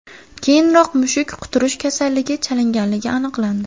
Keyinroq mushuk quturish kasaliga chalinganligi aniqlandi.